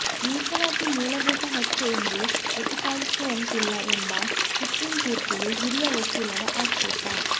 ಮೀಸಲಾತಿ ಮೂಲಭೂತ ಹಕ್ಕು ಎಂದು ಪ್ರತಿಪಾದಿಸುವಂತಿಲ್ಲ ಎಂಬ ಸುಪ್ರೀಂ ತೀರ್ಪಿಗೆ ಹಿರಿಯ ವಕೀಲರ ಆಕ್ಷೇಪ